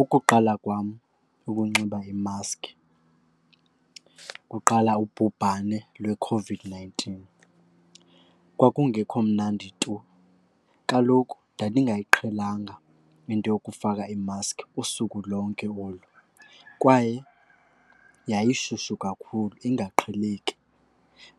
Ukuqala kwam ukunxiba imaski kuqala ubhubhane lweCOVID-nineteen. Kwakungekho mnandi tu, kaloku ndandingayiqhelanga into yokufaka imaski usuku lonke olu kwaye yayishushu kakhulu ingaqheleki.